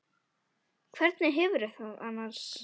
Hvernig hefurðu það annars?